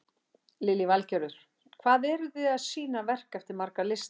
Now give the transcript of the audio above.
Lillý Valgerður: Hvað eru þið að sýna verk eftir marga listamenn?